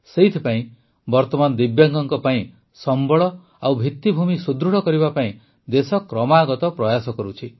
ସେଥିପାଇଁ ବର୍ତ୍ତମାନ ଦିବ୍ୟାଙ୍ଗଙ୍କ ପାଇଁ ସମ୍ବଳ ଓ ଭିତିଭୂମି ସୁଦୃଢ଼ କରିବା ପାଇଁ ଦେଶ କ୍ରମାଗତ ପ୍ରୟାସ କରୁଛି